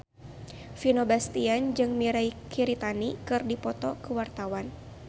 Vino Bastian jeung Mirei Kiritani keur dipoto ku wartawan